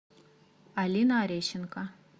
алина арещенко